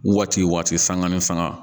Waati waati sanga ni faŋa